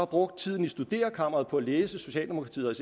brugt tiden i studerekammeret på at læse socialdemokratiet